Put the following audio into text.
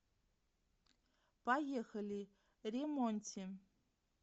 поехали ре монти